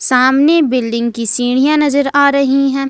सामने बिल्डिंग की सीढ़ियां नजर आ रही है।